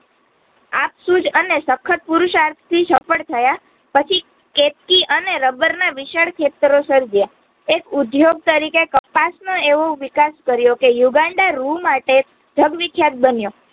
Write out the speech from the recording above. આપસુજ અને સખડ પુરુષાર્થથી સફળ થયા પછી કેતકી અને રબર ના વિશાળ ખેતરો એક ઉદ્યોગ તરીકે કપાસ નો એવો વિકાસ કર્યો કે યુગાંડા રૂ માટે જગવિખ્યાત બન્યો